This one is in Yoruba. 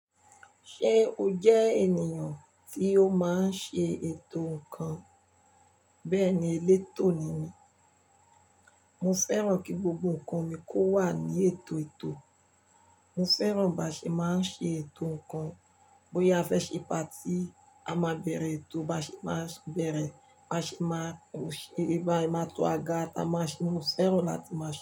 Ṣé o jẹ́ ènìyàn tí ó máa ń ṣe ètò ǹkan? Bẹ́ẹ̀ni, elétò ni mí. Mo fẹ́ràn kí gbogbo ǹkan mi kó wà ní ètò ètò. Mo fẹ́ràn báṣe máa ń ṣe ètò ǹkan. Bóyá a fẹ́ ṣe party a máa bẹ̀rẹ̀ ètò, báṣe máa bẹ̀rẹ̀, báṣe máa mu ìbà, máa to àga, ta máṣe, mo fẹ́ràn láti má ṣè.